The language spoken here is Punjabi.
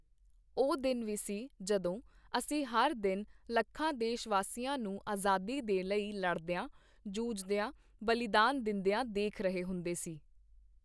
ਉਹ ਦਿਨ ਵੀ ਸੀ, ਜਦੋਂ ਅਸੀਂ ਹਰ ਦਿਨ ਲੱਖਾਂ ਦੇਸ਼ਵਾਸੀਆਂ ਨੂੰ ਆਜ਼ਾਦੀ ਦੇ ਲਈ ਲੜਦਿਆਂ, ਜੂਝਦਿਆਂ, ਬਲੀਦਾਨ ਦਿੰਦਿਆਂ ਦੇਖ ਰਹੇ ਹੁੰਦੇ ਸੀ ।